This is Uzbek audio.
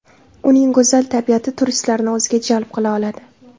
Uning go‘zal tabiati turistlarni o‘ziga jalb qila oladi.